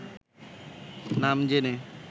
নাম জেনে